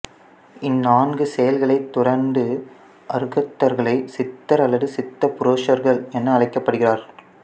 இந்நான்கு செயல்களை துறந்த அருகதர்களை சித்தர் அல்லது சித்த புருசர்கள் என அழைக்கப்படுகிறார்